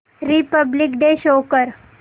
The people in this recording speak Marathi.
रिपब्लिक डे शो कर